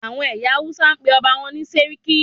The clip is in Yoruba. Àwọn ẹyà Hausa máa ń pe ọba wọn ní "sarki"